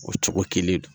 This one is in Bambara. O cogo kelen don